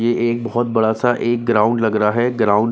एक बहुत बड़ा सा एक ग्राउंड लग रहा है ग्राउंड --